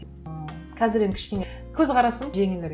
ы қазір енді кішкене көзқарасым жеңілірек